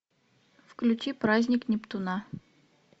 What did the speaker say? включи праздник нептуна